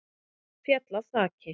Féll af þaki